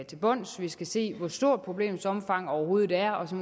til bunds vi skal se hvor stort problemets omfang overhovedet er og så